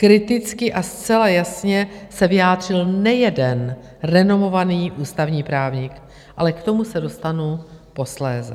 Kriticky a zcela jasně se vyjádřil nejeden renomovaný ústavní právník, ale k tomu se dostanu posléze.